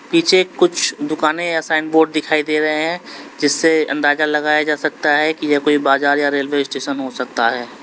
पीछे कुछ दुकानें या साइन बोर्ड दिखाई दे रहे हैं जिससे अंदाजा लगाया जा सकता है कि ये कोई बाजार या रेलवे स्टेशन हो सकता है।